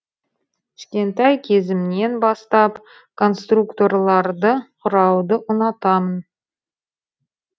кішкентай кезімнен бастап конструкторларды құрауды ұнатамын